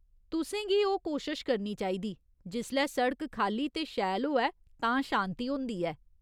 तुसें गी ओह् कोशश करनी चाहिदी , जिसलै सिड़क खाल्ली ते शैल होऐ तां शान्ति होंदी ऐ।